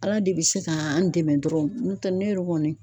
Ala de bɛ se ka an dɛmɛ dɔrɔn n'o tɛ ne yɛrɛ kɔni